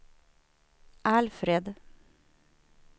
Alfred